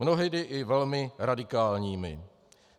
Mnohdy i velmi radikálními.